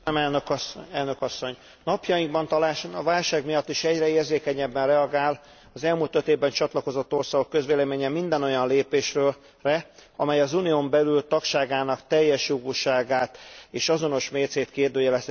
Napjainkban talán a válság miatt is egyre érzékenyebben reagál az elmúlt öt évben csatlakozott országok közvéleménye minden olyan lépésre, amely az Unión belül tagságának teljesjogúságát és azonos mércéjét kérdőjelezheti meg, vagy azt lejáratja.